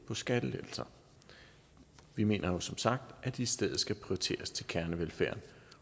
på skattelettelser vi mener jo som sagt at de i stedet skal prioriteres til kernevelfærden